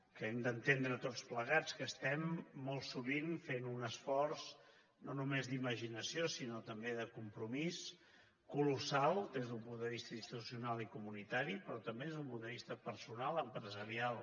que hem d’entendre tots plegats que estem molt sovint fent un esforç no només d’imaginació sinó també de compromís colossal des d’un punt de vista institucional i comunitari però també des d’un punt de vista personal empresarial